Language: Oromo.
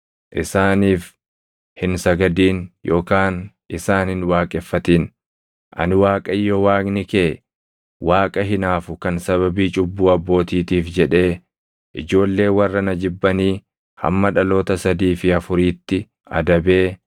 Isaaniif hin sagadin yookaan isaan hin waaqeffatin; ani Waaqayyo Waaqni kee Waaqa hinaafu kan sababii cubbuu abbootiitiif jedhee ijoollee warra na jibbanii hamma dhaloota sadii fi afuriitti adabee